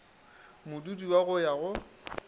modudi wa go ya go